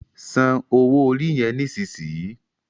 Sàn owo orí yen nísìsiyìí!